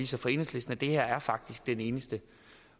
sig for enhedslisten at det her faktisk er den eneste